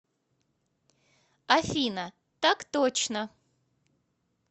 афина так точно